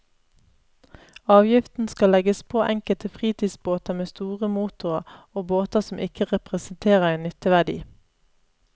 Avgiften skal legges på enkelte fritidsbåter med store motorer, og båter som ikke representerer en nytteverdi.